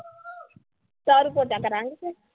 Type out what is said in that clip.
ਝਾੜੂ-ਪੋਚਾ ਕਰਾਂਗੇ ਅਸੀਂ